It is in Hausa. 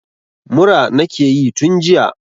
Mura nakeyi tun jiya